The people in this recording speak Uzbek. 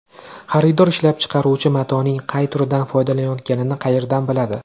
Xaridor ishlab chiqaruvchi matoning qay turidan foydalanayotganini qayerdan biladi?